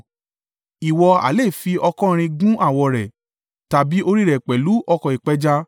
Ìwọ ha lè fi ọ̀kọ̀-irin gun awọ rẹ̀, tàbí orí rẹ̀ pẹ̀lú ọ̀kọ̀ ìpẹja.